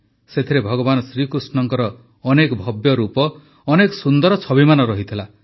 ସେଥିରେ ଭଗବାନ ଶ୍ରୀକୃଷ୍ଣଙ୍କ ଅନେକ ଭବ୍ୟ ରୂପ ଅନେକ ସୁନ୍ଦର ଛବିମାନ ଥିଲା